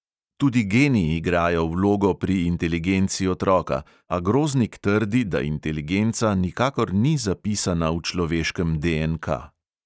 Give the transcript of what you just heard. Tudi geni igrajo vlogo pri inteligenci otroka, a groznik trdi, da inteligenca nikakor ni zapisana v človeškem DNK.